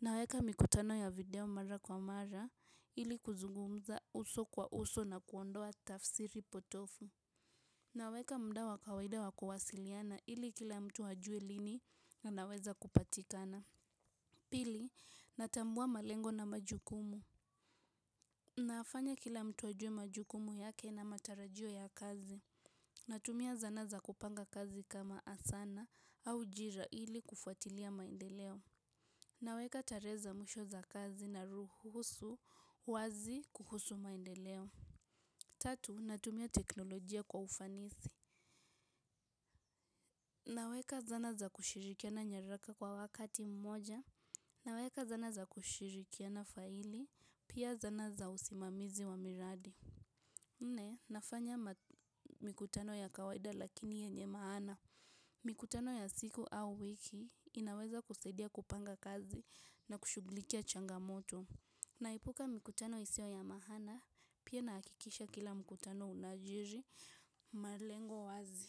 Naweka mikutano ya video mara kwa mara ili kuzugumza uso kwa uso na kuondoa tafsiri potovu. Naweka muda wa kawaida wa kuwasiliana ili kila mtu ajue lini anaweza kupatikana. Pili, natambua malengo na majukumu. Nayafanya kila mtu ajue majukumu yake na matarajio ya kazi. Natumia zana za kupanga kazi kama asana au jira ili kufuatilia maendeleo naweka tare za mwisho za kazi na ruhusu wazi kuhusu maendeleo tatu, natumia teknolojia kwa ufanisi naweka zana za kushirikiana nyaraka kwa wakati mmoja naweka zana za kushirikiana faili pia zana za usimamizi wa miradi nne, nafanya mikutano ya kawaida lakini yenye maana mikutano ya siku au wiki inaweza kusaidia kupanga kazi na kushughulikia changamoto. Naepuka mikutano isiyo ya maana pia nahakikisha kila mkutano unajiri malengo wazi.